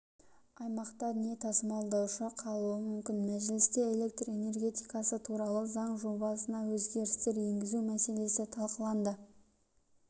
аймақта не тасымалдаушы қалуы мүмкін мәжілісте электр энергетикасы туралы заң жобасына өзгерістер енгізу мәселесі талқыланды